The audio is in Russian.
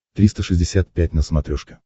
триста шестьдесят пять на смотрешке